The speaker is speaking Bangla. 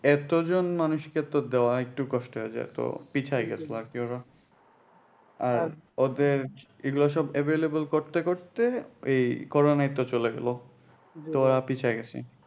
এতজন মানুষ কে তো দেওয়া একটু কষ্ট হয়ে যেত পিছাই গেছিলো আর কি ওরা আর ওদের এগুলা সব available করতে করতে ওই করোনা একটা চলে গেলো তো ওরা পিছাই গেছে